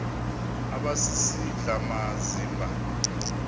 aba sisidl amazimba